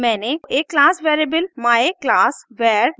मैंने एक class variable myclassvar भी परिभाषित किया है